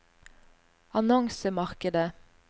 annonsemarkedet